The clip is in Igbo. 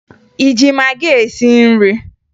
ị ji magị esi nri?